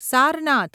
Sarnath